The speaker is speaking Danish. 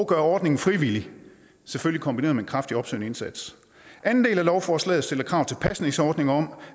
gør ordningen frivillig selvfølgelig kombineret med en kraftig opsøgende indsats anden del af lovforslaget stiller krav til pasningsordninger om